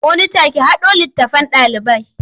Monita ki haɗo littattafan ɗalibai.